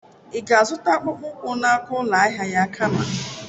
Ị ga-azụta akpụkpọ ụkwụ n'aka ụlọ ahịa ya kama?